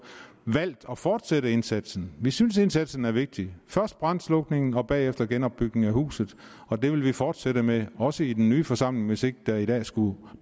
valgt at fortsætte indsatsen vi synes at indsatsen er vigtig først brandslukning og bagefter genopbygning af huset og det vil vi fortsætte med også i den nye forsamling hvis ikke der i dag skulle